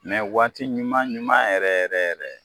Mɛ waati ɲuman ɲuman yɛrɛ yɛrɛ yɛrɛ